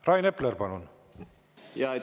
Rain Epler, palun!